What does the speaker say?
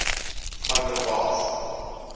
van der waals